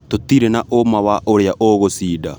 Tũtirĩ na ũma wa ũrĩa ũgũcinda